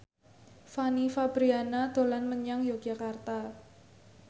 Fanny Fabriana dolan menyang Yogyakarta